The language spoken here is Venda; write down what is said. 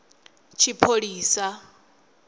tshipholisa